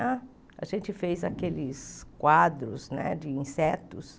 A a gente fez aqueles quadros né de insetos.